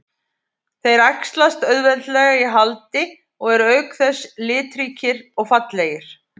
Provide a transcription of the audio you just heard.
Þeir æxlast auðveldlega í haldi og eru auk þess litríkir og fallegir.